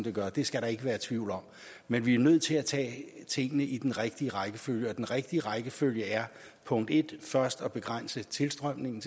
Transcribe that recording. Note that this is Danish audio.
det gør det skal der ikke være tvivl om men vi er nødt til at tage tingene i den rigtige rækkefølge og den rigtige rækkefølge er punkt en først at begrænse tilstrømningen